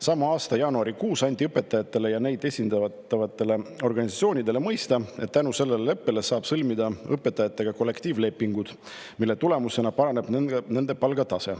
Sama aasta jaanuarikuus anti õpetajatele ja neid esindavatele organisatsioonidele mõista, et tänu sellele leppele saab õpetajatega sõlmida kollektiivlepingud, mille tulemusena paraneb nende palgatase.